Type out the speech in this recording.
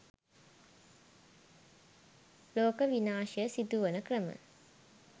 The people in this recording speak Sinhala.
ලෝක විනාශය සිදුවන ක්‍රම